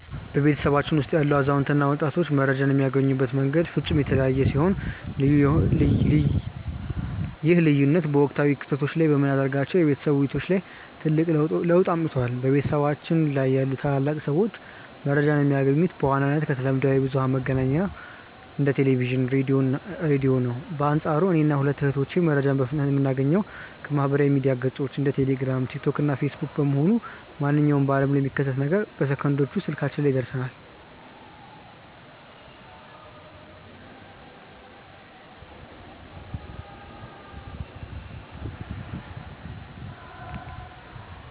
በቤተሰባችን ውስጥ ያሉ አዛውንት እና ወጣቶች መረጃን የሚያገኙበት መንገድ ፍጹም የተለያየ ሲሆን፣ ይህ ልዩነት በወቅታዊ ክስተቶች ላይ በምናደርጋቸው የቤተሰብ ውይይቶች ላይ ትልቅ ለውጥ አምጥቷል። በቤታችን ያሉ ታላላቅ ሰዎች መረጃን የሚያገኙት በዋነኝነት ከተለምዷዊ የብዙኃን መገናኛዎች እንደ ቴሌቪዥን፣ ራዲዮ ነው። በአንፃሩ እኔና ሁለቱ እህቶቼ መረጃን በፍጥነት የምናገኘው ከማኅበራዊ ሚዲያ ገጾች (እንደ ቴሌግራም፣ ቲክቶክ እና ፌስቡክ) በመሆኑ፣ ማንኛውም በዓለም ላይ የሚከሰት ነገር በሰከንዶች ውስጥ ስልካችን ላይ ይደርሰናል።